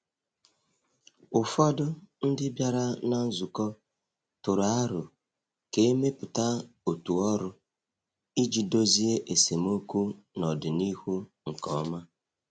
Ụfọdụ ndị bịara na nzukọ tụrụ aro ka e mepụta otu ọrụ iji dozie esemokwu n’ọdịnihu nke ọma.